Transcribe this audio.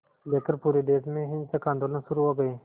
लेकर पूरे देश में हिंसक आंदोलन शुरू हो गए